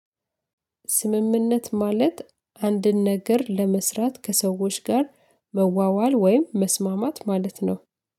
ስምምነት ማለት አንድን ነገር ለመስራት ከሰዎች ጋር መዋዋል ወይም መስማማት ማለት ነው